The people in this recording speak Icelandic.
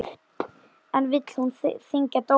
En vill hún þyngja dóma?